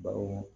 Bawo